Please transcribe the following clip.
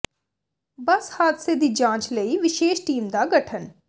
ਬੱਸ ਹਾਦਸੇ ਦੀ ਜਾਂਚ ਲਈ ਵਿਸ਼ੇਸ਼ ਟੀਮ ਦਾ ਗਠਨ